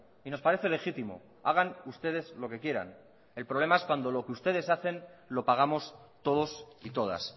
y nos parece legítimo hagan ustedes lo que quieran el problema es cuando lo que ustedes hacen lo pagamos todos y todas